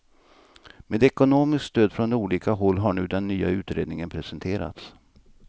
Med ekonomiskt stöd från olika håll har nu den nya utredningen presenterats.